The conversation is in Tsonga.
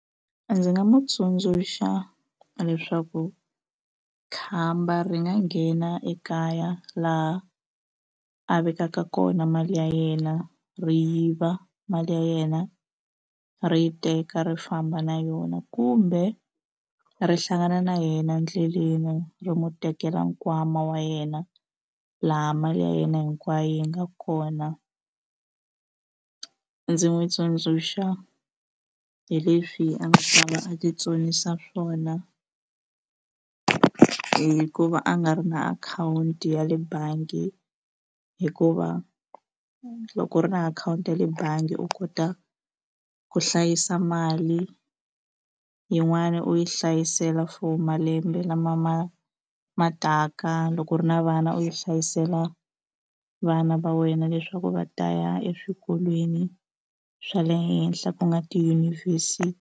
Ndzi nga mu tsundzuxa leswaku khamba ri nga nghena ekaya laha a vekaka kona mali ya yena ri yiva mali ya yena ri teka ri yi famba na yona kumbe ri hlangana na yena endleleni ri mu tekela nkwama wa yena laha mali ya yena hinkwayo yi nga kona ndzi n'wi tsundzuxa hi leswi a nga ta va a ti tsonisa swona hi ku va a nga ri na akhawunti ya le bangi hikuva loko u ri na akhawunti ya le bangi u kota ku hlayisa mali yin'wani u yi hlayisela for malembe lama ma ma taka loko u ri na vana u yi hlayisela vana va wena leswaku va ta ya eswikolweni swa le henhla ku nga .